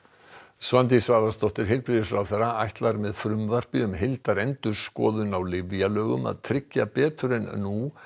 Svandís Svavarsdóttir heilbrigðisráðherra ætlar með frumvarpi um heildarendurskoðun á lyfjalögum að tryggja betur en nú